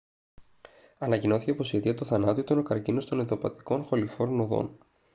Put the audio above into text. ανακοινώθηκε πως η αιτία του θανάτου ήταν ο καρκίνος των ενδοηπατικών χοληφόρων οδών